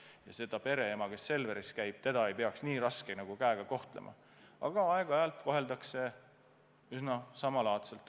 Ja seda pereema, kes Selveris käib, ei peaks raske käega kohtlema, aga aeg-ajalt siiski koheldakse.